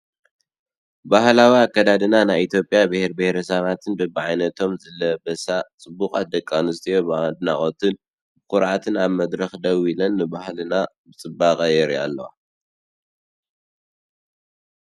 ባህላዊ ኣከዳድና ናይ ኢትዮጵያ ብሄር ብሄረሰባትን በቢዓይነቶም ዝለበሳ ጽቡቓት ደቂ ኣንስትዮ ብኣድናቖትን ብኹርዓትን ኣብ መድረኽ ደው ኢለን ንባህልና ብጽባቐ የብርሃ ኣለዋ።